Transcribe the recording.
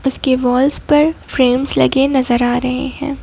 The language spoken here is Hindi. उसके वॉल्स पर फ्रेम्स लगे नजर आ रहे हैं।